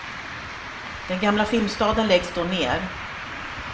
Den gamla filmstaden läggs då ner.